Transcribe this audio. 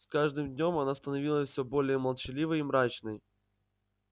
с каждым днём она становилась все более молчаливой и мрачной